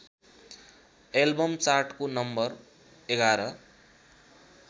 album चार्टको नं ११